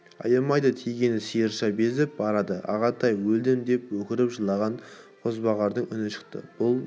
аямайды тиген сиырша безіп барады ағатай өлдім деп өкіріп жылаған қозбағардың үні шықты бұл